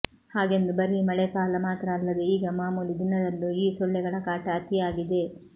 ಹಾಗೆಂದು ಬರೀ ಮಳೆಕಾಲ ಮಾತ್ರ ಅಲ್ಲದೆ ಈಗ ಮಾಮೂಲಿ ದಿನದಲ್ಲೂ ಈ ಸೊಳ್ಳೆಗಳ ಕಾಟ ಅತೀ ಆಗಿದೆ